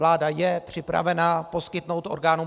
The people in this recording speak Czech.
Vláda je připravena poskytnout orgánům